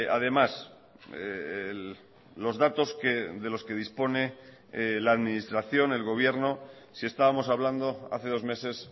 además los datos de los que dispone la administración el gobierno si estábamos hablando hace dos meses